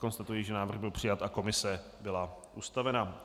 Konstatuji, že návrh byl přijat a komise byla ustavena.